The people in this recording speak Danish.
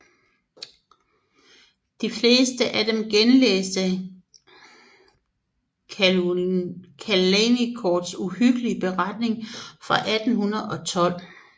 De fleste af dem genlæste Caulaincourts uhyggelige beretning fra 1812